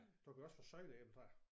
Du kan jo også få søjleæbetræer